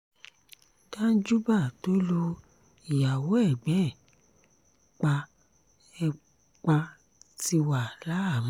danjúbà tó lu ìyàwó ẹ̀gbọ́n ẹ̀ pa ẹ̀ pa ti wà láhàámọ̀